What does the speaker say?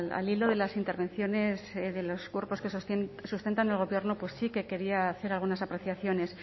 al hilo de las intervenciones de los cuerpos que sustentan el gobierno sí que quería hacer algunas apreciaciones